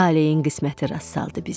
Taleyin qisməti rast saldı bizi.